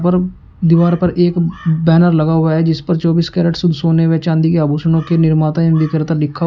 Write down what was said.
और दीवार पर एक बैनर लगा हुआ है जिस पर चौबीस कैरेट शुद्ध सोने व चांदी के आभूषणों के निर्माता एवं विक्रेता लिखा --